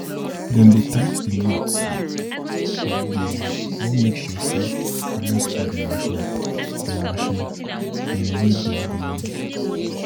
dem dey tight d nots sake of dey wan make sure say dem no spoil de marchin dem marchin dem wey dem go use